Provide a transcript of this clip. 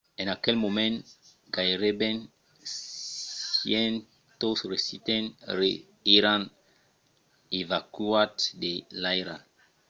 en aquel moment gaireben 100 residents èran evacuats de l’airal